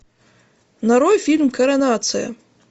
нарой фильм коронация